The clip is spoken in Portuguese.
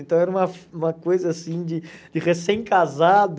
Então era uma uma coisa assim de de recém-casado.